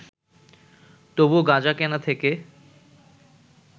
তবু গাঁজা কেনা থেকে